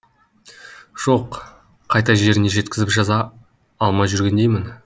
жоқ қайта жеріне жеткізіп жаза алмай жүргендеймін